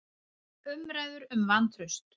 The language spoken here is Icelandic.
Umræður um vantraust